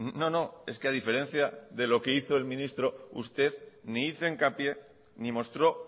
ni hizo hincapié ni mostró